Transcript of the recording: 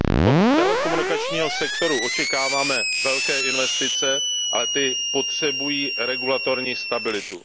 Od telekomunikačního sektoru očekáváme velké investice, ale ty potřebují regulatorní stabilitu.